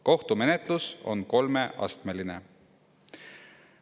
Kohtumenetlus on kolmeastmeline.